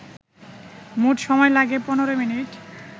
মোট সময় লাগে ১৫মিনিট